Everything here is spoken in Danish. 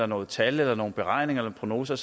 nogle tal eller beregninger eller prognoser